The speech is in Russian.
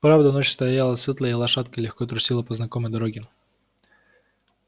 правда ночь стояла светлая и лошадка легко трусила по знакомой дороге